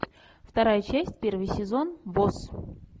вторая часть первый сезон босс